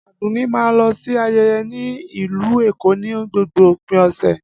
Adunni máa ń lọ sí ayẹyẹ ní Ìlú Èkó ní gbogbo òpin ọ̀sẹ̀.